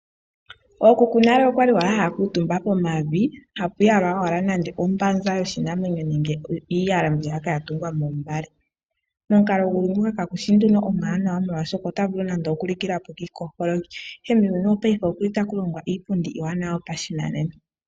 Ookuku nale okwali owala haya kuutumba pomavi ha pu yalwa owala nande ombanza yoshinamwenyo nenge iiyala mbiya ya tungwa moombale. omukalo nguno ka gushi nando omwaanawa molwaashoka otavulu nando oku likilapo kiipolopolo, Ashike muuyuni wo paife okuli ta kulongwa iipundi iiwanawa yoshinanena.